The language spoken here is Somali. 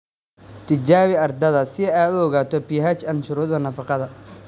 Tijaabi carradaada si aad u ogaato pH & shuruudaha nafaqada"""